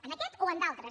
en aquest o en d’altres